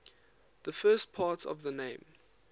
the first part of the name